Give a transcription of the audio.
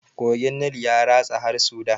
Kogin nil ya ratsa har sudan